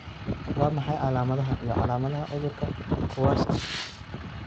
Waa maxay calaamadaha iyo calaamadaha cudurka Kowarski?